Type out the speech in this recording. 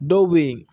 Dɔw bɛ yen